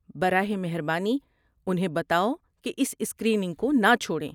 براہ مہربانی انہیں بتاؤ کہ اس اسکریننگ کو نہ چھوڑیں۔